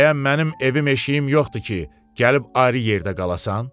Bəyəm mənim evim eşiyim yoxdur ki, gəlib ayrı yerdə qalasan?